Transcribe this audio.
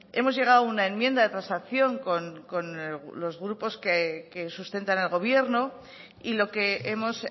hemos llegado a una enmienda de transacción con los grupos que sustentan al gobierno y lo que hemos